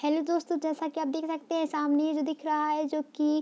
hello दोस्तो जैसा की आप देख सकते है सामने ये जो दिख रहा है जो की --